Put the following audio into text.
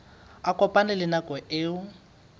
a kopane le nako eo